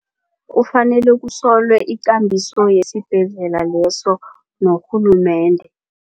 Kufanele kusolwe ikambiso yesibhedlela leso norhulumende.